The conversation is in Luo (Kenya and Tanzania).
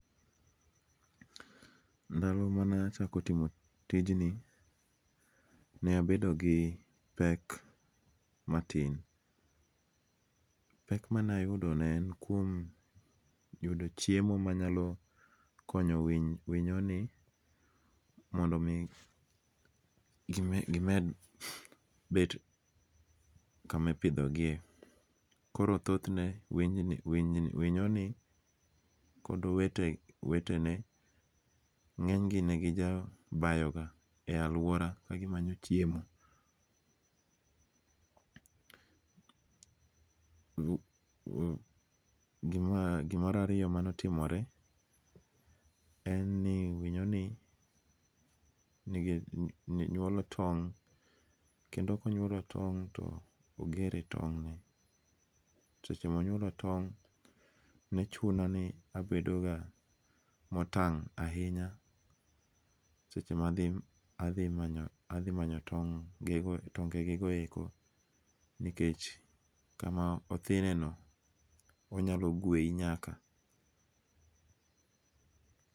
Ndalo mane achako timo tijni, ne abedo gi pek matin, pek mane ayudo ne en kuom yudo chiemo manyalo konyo winy winyoni mondo mi gimed bet kama ipithogie koro thothne winyonie kod owetene nge'nyne ne gijabayo e aluora kagimanyo chiemo. Gima rariyo mane otimore en ni winyoni nywolo tong kendo konyuolo tong to ogere tong'ne , seche maonyuolo tong' to nechunoni abedoga motang' ahinya seche ma athi manyo seche mathi manyo tonge'gekoeko nikech kama othineno onyalo gweyi nyaka.